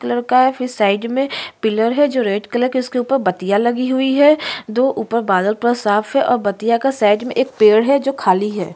एक लड़का है फिर साइड में पिलर है जो रेड कलर में उसके ऊपर बतिया लगी हुई है दो ऊपर बादल पूरा साफ है और बतिया के साइड में एक पेड़ है जो खाली है।